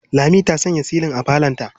Lami ta sanya silin a falonta.